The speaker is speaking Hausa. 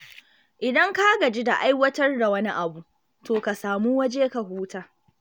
Idan ka gaji da aiwatar da wani abu, to ka samu waje ka huta.